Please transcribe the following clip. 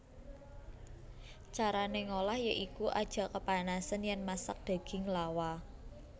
Carané ngolah ya iku aja kepanasen yèn masak daging lawa